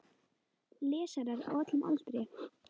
Lesarar á öllum aldri.